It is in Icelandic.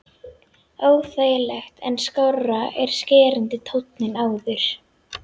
Óþægilegt en skárra en skerandi tónninn áður.